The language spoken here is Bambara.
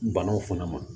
Banaw fana ma